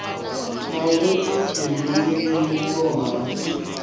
na vhuifhinduleli vhulondo na u